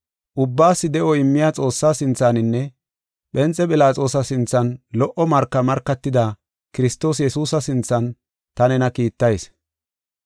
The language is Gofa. Ubbaas de7o immiya Xoossaa sinthaninne, Phenxe Philaxoosa sinthan lo77o marka markatida Kiristoos Yesuusa sinthan ta nena kiittayis.